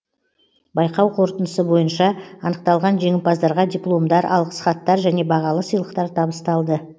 байқау қорытындысы бойынша анықталған жеңімпаздарға дипломдар алғыс хаттар және бағалы сыйлықтар табысталды